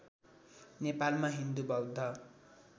नेपालमा हिन्दू बौद्ध